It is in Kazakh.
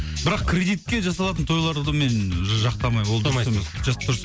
бірақ кредитке жасалатын тойларды мен ж жақтамаймын ол дұрыс емес